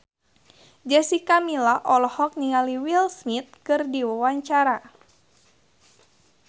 Jessica Milla olohok ningali Will Smith keur diwawancara